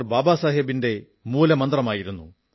ബാബാസാഹബ് അംബേദ്കറുടെ മൂലമന്ത്രമായിരുന്നു